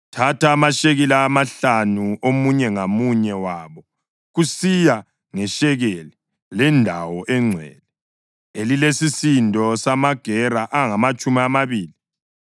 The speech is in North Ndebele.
thatha amashekeli amahlanu omunye ngamunye wabo, kusiya ngeshekeli lendawo engcwele, elilesisindo samagera angamatshumi amabili.